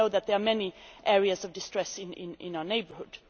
We know that there are many areas of distress in our neighbourhood.